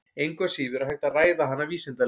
Engu að síður er hægt að ræða hana vísindalega.